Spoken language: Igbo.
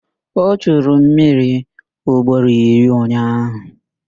O churu mmiri ugboro iri ụnyaahụ